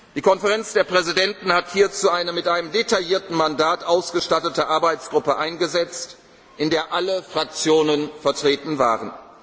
Die Konferenz der Präsidenten hat hierzu eine mit einem detaillierten Mandat ausgestattete Arbeitgruppe eingesetzt, in der alle Fraktionen vertreten